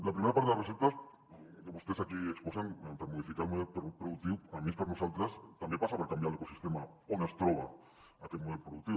la primera part de les receptes que vostès aquí exposen per modificar el model productiu almenys per nosaltres també passa per canviar l’ecosistema on es troba aquest model productiu